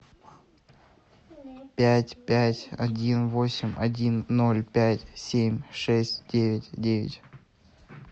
пять пять один восемь один ноль пять семь шесть девять девять